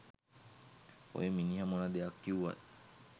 ඔය මිනිහ මොන දෙයක් කිව්වත්